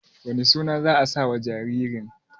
wane suna za a sawa jaririn?